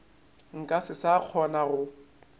nka se sa kgona go